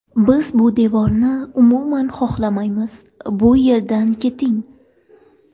Biz bu devorni umuman xohlamaymiz, bu yerdan keting”.